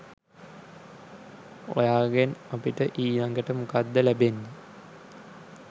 ඔයාගෙන් අපිට ඊලඟට මොකක්ද ලැබෙන්නේ?